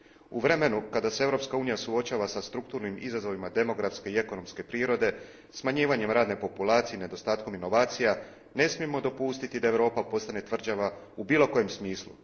U vremenu kada se Europska unija suočava sa strukturnim izazovima demografske i ekonomske prirode, smanjivanjem radne populacije i nedostatkom inovacija, ne smijemo dopustiti da Europa postane tvrđava u bilo kojem smislu